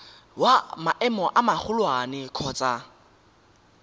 wa maemo a magolwane kgotsa